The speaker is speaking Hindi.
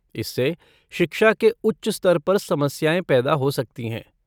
इससे शिक्षा के उच्च स्तर पर समस्याएँ पैदा हो सकती हैं।